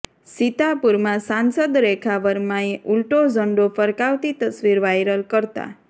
સીતાપુરમાં સાંસદ રેખા વર્માએ ઊલટો ઝંડો ફરકાવતી તસવીર વાયરલ કરતાં